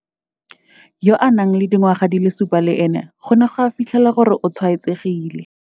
Yo a nang le dingwaga di le supa le ene go ne ga fitlhelwa gore o tshwaetsegile.